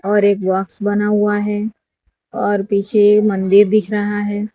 और एक बॉक्स बना हुआ है और पीछे ये मंदिर दिख रहा है।